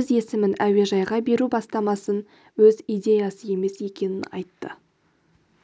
өз есімін әуежайға беру бастамасын өз идеясы емес екенін айтты